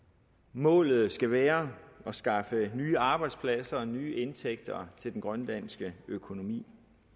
målet skal være at skaffe nye arbejdspladser og nye indtægter til den grønlandske økonomi